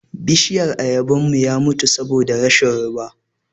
Bishiyan Ayaban mu ya mutu saboda rashin ruwa.